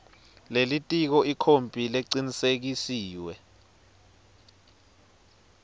lelitiko ikhophi lecinisekisiwe